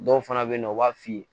Dɔw fana bɛ yen nɔ u b'a f'i ye